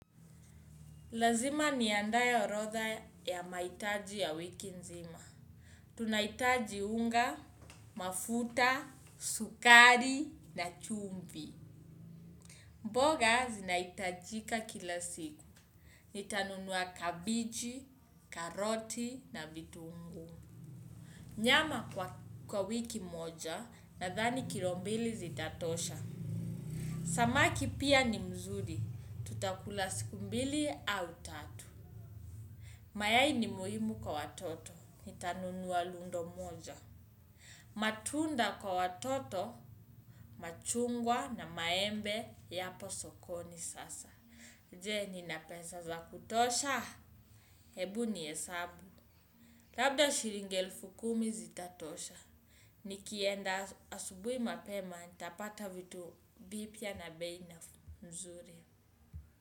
Lazima niandae orodha ya mahitaji ya wiki nzima. Tunahitaji unga, mafuta, sukari na chumvi. Mboga zinahitajika kila siku. Nitanunuwa kabichi, karoti na vitungu. Nyama kwa wiki moja nadhani kilo mbili zitatosha. Samaki pia ni mzuri. Tutakula siku mbili au tatu. Mayayi ni muhimu kwa watoto, ni tanunuwa lundo moja. Matunda kwa watoto, machungwa na maembe, yapo sokoni sasa. Je, nina pesa za kutosha? Hebu niesabu. Labda shilingi elfu kumi zitatosha. Nikienda asubui mapema, nitapata vitu bipya na bei na mzuri.